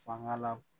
Fanga la